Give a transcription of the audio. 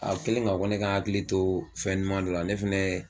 A kɛlen k'a fɔ ko ne ka n hakili to fɛn duman dɔ la ne fɛnɛ